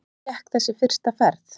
Hvernig gekk þessi fyrsta ferð?